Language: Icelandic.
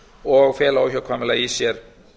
og fela óhjákvæmilega í sér